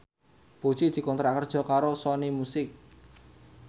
Puji dikontrak kerja karo Sony Music